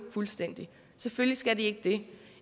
fuldstændig selvfølgelig skal de ikke det